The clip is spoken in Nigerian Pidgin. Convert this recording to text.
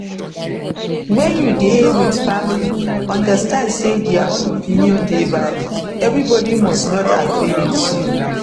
when you dey with family understand sey their own opinion dey valid everybody must not agree with you